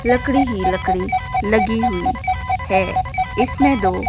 लकड़ी लकड़ी लगी हुई है इसमें दो--